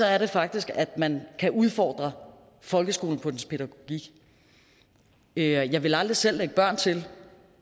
er det faktisk at man kan udfordre folkeskolen på dens pædagogik jeg ville aldrig selv lægge børn til